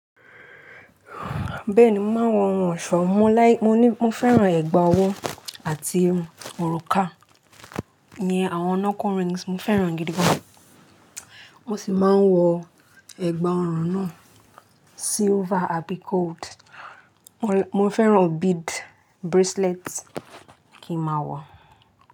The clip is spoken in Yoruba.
Bẹ́ẹ̀ni, mo máa ń wọ ohun ọ̀ṣọ́, mo láì, mo ní, mo fẹ́ràn ẹ̀gbà ọwọ́ àti òrùka. Iyen àwọn knuckle rings mo fẹ́ràn e gidi gan. Mo sì máa ń wọ ẹ̀gbà ọrùn náà silver àbí gold. Mo fẹ́ràn bead bracelet kí n máa wọ.